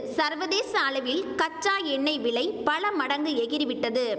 சர்வதேச அளவில் கச்சா எண்ணெய் விலை பல மடங்கு எகிறி விட்டது